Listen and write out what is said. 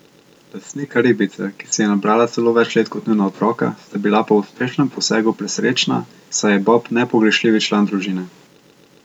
Lastnika ribice, ki si je nabrala celo več let kot njuna otroka, sta bila po uspešnem posegu presrečna, saj je Bob nepogrešljivi član družine.